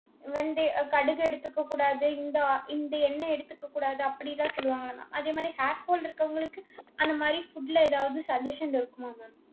வெந்தய~ அஹ் கடுகு எடுத்துக்ககூடாது இந்த ஆ~ இந்த ol~ எண்ணெய் எடுத்துக்ககூடாது அப்படியெல்லாம் சொல்லுவாங்க இல்லை mam. அதே மாரி hair fall இருக்கவங்களுக்கு அந்த மாதிரி food ல ஏதாவது suggestion இருக்குமா mam